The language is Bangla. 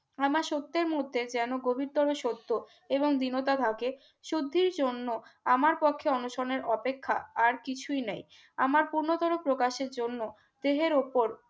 আমার সত্যের মধ্যে যেন গভীরতর সত্য এবং বিনতা থাকে শুদ্ধির জন্য আমার পক্ষে অনুসনের অপেক্ষা আর কিছুই নেই আমার পূর্ণতারে প্রকাশের জন্য দেহের উপর